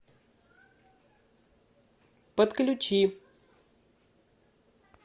подключи